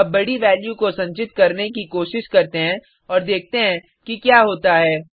अब बडी वैल्यू को संचित करने की कोशिश करते हैं और देखते हैं कि क्या होता है